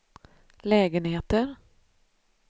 lägenheter